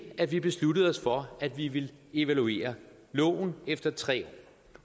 at vi besluttede os for at vi ville evaluere loven efter tre